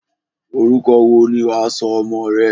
Orúkọ wo ni wà á sọ ọmọ rẹ?